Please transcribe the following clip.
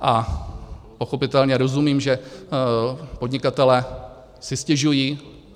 A pochopitelně rozumím, že podnikatelé si stěžují.